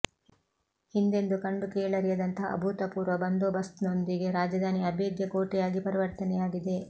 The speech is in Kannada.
ಹಿಂದೆಂದೂ ಕಂಡು ಕೇಳರಿಯದಂತಹ ಅಭೂತಪೂರ್ವ ಬಂದೋಬಸ್ತ್ನೊಂದಿಗೆ ರಾಜಧಾನಿ ಅಬೇಧ್ಯ ಕೋಟೆಯಾಗಿ ಪರಿವರ್ತನೆಯಾಗಿದೆ